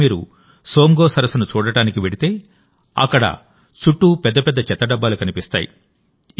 ఈరోజుమీరు సోమ్గోసరస్సును చూడటానికి వెళితేఅక్కడ చుట్టూ పెద్ద పెద్ద చెత్త డబ్బాలు కనిపిస్తాయి